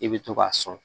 I bɛ to k'a sɔn